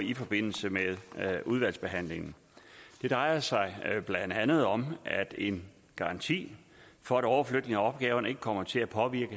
i forbindelse med udvalgsbehandlingen det drejer sig blandt andet om en garanti for at overflytningen af opgaverne ikke kommer til at påvirke